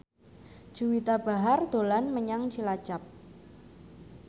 Juwita Bahar dolan menyang Cilacap